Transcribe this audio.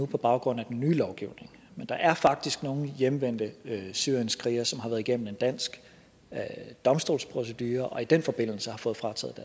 på baggrund af den nye lovgivning men der er faktisk nogle hjemvendte syrienskrigere som har været igennem en dansk domstolsprocedure og i den forbindelse fået frataget